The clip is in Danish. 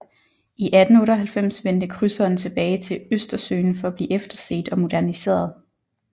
I 1898 vendte krydseren tilbage til Østersøen for at blive efterset og moderniseret